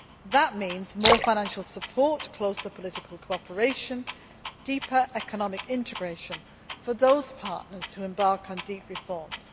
That means more financial support, closer political cooperation, deeper economic integration for those partners who embark on deep reforms.